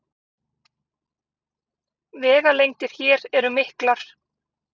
Vegalengdir hér eru miklar